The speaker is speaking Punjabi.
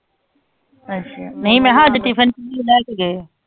ਅੱਛਾ ਨਹੀਂ ਮੈਂ ਕਿਹਾ ਟਿਫਨ ਚ ਕਿ ਲੈਕੇ ਗਯਾ ਹੈ